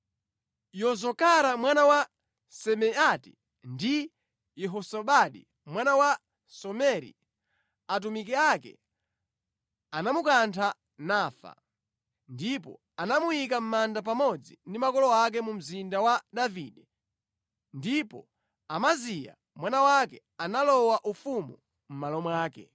Yozakara mwana wa Simeati ndi Yehozabadi mwana wa Someri atumiki ake anamukantha nafa. Ndipo anamuyika mʼmanda pamodzi ndi makolo ake mu Mzinda wa Davide. Ndipo Amaziya mwana wake analowa ufumu mʼmalo mwake.